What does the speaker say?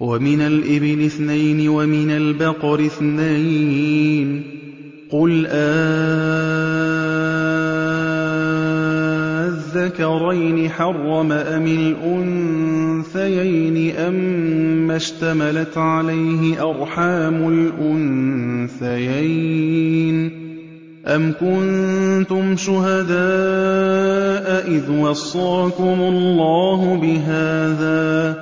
وَمِنَ الْإِبِلِ اثْنَيْنِ وَمِنَ الْبَقَرِ اثْنَيْنِ ۗ قُلْ آلذَّكَرَيْنِ حَرَّمَ أَمِ الْأُنثَيَيْنِ أَمَّا اشْتَمَلَتْ عَلَيْهِ أَرْحَامُ الْأُنثَيَيْنِ ۖ أَمْ كُنتُمْ شُهَدَاءَ إِذْ وَصَّاكُمُ اللَّهُ بِهَٰذَا ۚ